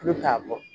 Tulu k'a bɔ